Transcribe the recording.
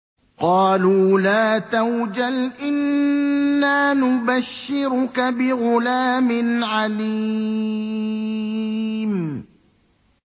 قَالُوا لَا تَوْجَلْ إِنَّا نُبَشِّرُكَ بِغُلَامٍ عَلِيمٍ